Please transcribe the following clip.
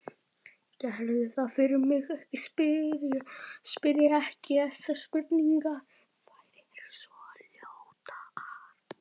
Gerðu það fyrir mig að spyrja ekki þessarar spurningar